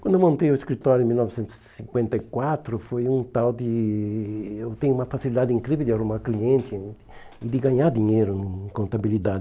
Quando eu montei o escritório em mil novecentos e cinquenta e quatro, foi um tal de... Eu tenho uma facilidade incrível de arrumar cliente e de ganhar dinheiro em